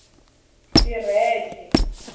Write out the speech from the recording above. xirheche